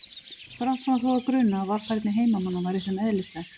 Brátt fór hann þó að gruna að varfærni heimamanna væri þeim eðlislæg.